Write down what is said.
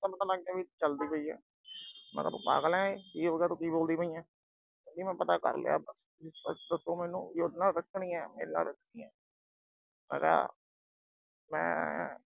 ਏਦਾਂ ਕਿਵੇਂ ਪਤਾ ਲੱਗ ਗਿਆ ਕਿ ਚੱਲਦੀ ਪਈ ਏ। ਮੈਂ ਕਿਹਾ ਤੂੰ ਪਾਗਲ ਏ, ਕੀ ਬੋਲਦੀ ਪਈ ਏ। ਕਹਿੰਦੀ ਮੈਂ ਪਤਾ ਕਰ ਲਿਆ ਤੂੰ ਉਹਦੇ ਨਾਲ ਰੱਖਣੀ ਆ, ਮੇਰੇ ਨਾਲ ਰੱਖਣੀ ਆ। ਮੈਂ ਕਿਹਾ ਮੈਂ